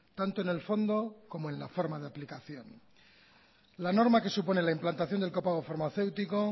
tanto en el fondo como en la forma de aplicación la norma que supone la implantación del copago farmacéutico